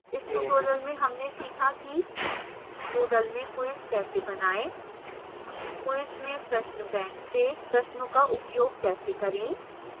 इस tutorial में हमने सीखा कि: